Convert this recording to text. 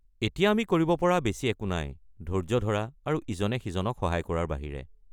এতিয়া আমি কৰিব পৰা বেছি একো নাই, ধৈৰ্য্য ধৰা আৰু ইজনে আনজনক সহায় কৰাৰ বাহিৰে।